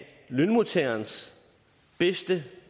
lønmodtagernes bedste